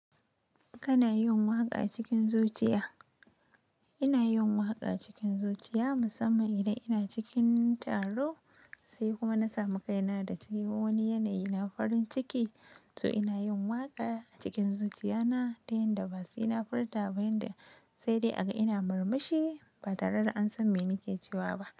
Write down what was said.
Kana yin waƙa a cikin zuciya? Ina yin waƙa a cikin zuciya musamman idan ina cikin taro sai kuma na samu kaina da tayi wani yanayi na farin ciki, to ina yin waƙa a cikin zuciya na ta yanda ba sai na furta ba yanda, sai dai a ga ina murmushi ba tare da an san me nake cewa ba.